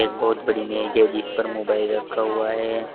बहोत बड़ी मेज है जिस पर मोबाइल रखा हुआ है।